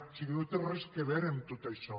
o sigui no té res a veure amb tot això